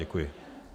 Děkuji.